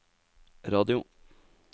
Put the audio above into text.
radio